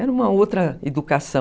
Era uma outra educação.